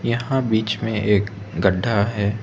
यहां बीच में एक गड्ढा है।